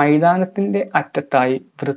മൈതാനത്തിന്റെ അറ്റത്തായി കൃ